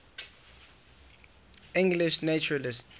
english naturalists